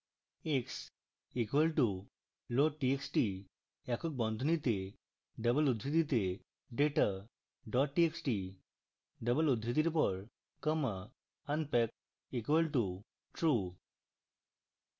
x equal to loadtxt একক বন্ধনীতে double উদ্ধৃতিতে data dot txt double উদ্ধৃতির পর comma unpack equal to true